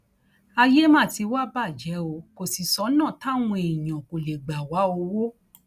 ayé má ti wàá bàjẹ o kò sì sọnà táwọn èèyàn kò lè gbà wá owó